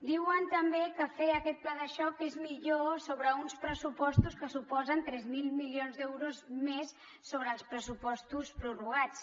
diuen també que fer aquest pla de xoc és millor sobre uns pressupostos que suposen tres mil milions d’euros més sobre els pressupostos prorrogats